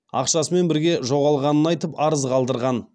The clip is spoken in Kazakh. ақшасымен бірге жоғалғанын айтып арыз қалдырған